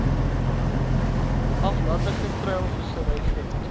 aflandige treilvissery vind